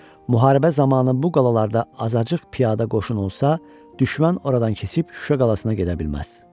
Müharibə zamanı bu qalalarda azacıq piyada qoşun olsa, düşmən oradan keçib Şuşa qalasına gedə bilməz.